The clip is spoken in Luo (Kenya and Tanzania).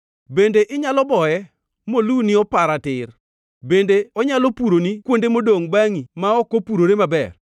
Bende inyalo boye moluni opara tir? Bende onyalo puroni kuonde modongʼ bangʼi ma ok opurore maber?